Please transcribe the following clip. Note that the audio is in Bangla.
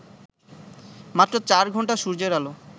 মাত্র চার ঘণ্টা সূর্যের আলো